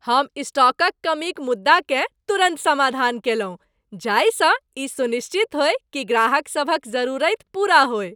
हम स्टॉकक कमीक मुद्दाकेँ तुरन्त समाधान केलहुँ जाहिसँ ई सुनिश्चित होय कि ग्राहकसभक जरूरति पूरा होय।